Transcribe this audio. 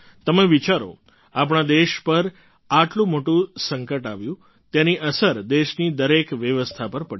તમે વિચારો આપણા દેશ પર આટલું મોટું સંકટ આવ્યું તેની અસર દેશની દરેક વ્યવસ્થા પર પડી